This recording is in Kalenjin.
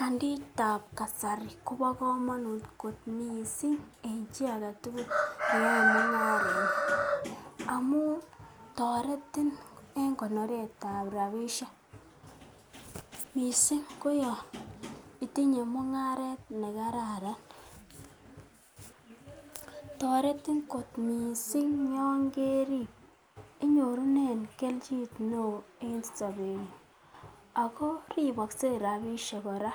Kaditab kasari kobo komonut kot mising en chi age tugul neyoe mung'aret amun toretin en koneret ab rabishek. Mising ko yon itinye mung'aret ne kararan. TOretin kot mising yon kerib, inyorunen kelchin neo mising en sobeng'ung ago ribokse rabishek kora.